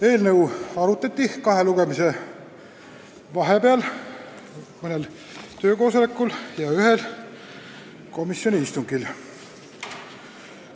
Eelnõu arutati kahe lugemise vahepeal mõnel töökoosolekul ja ühel komisjoni istungil.